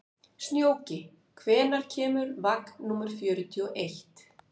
Snjóki, hvenær kemur vagn númer fjörutíu og eitt?